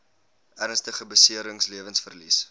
ernstige beserings lewensverlies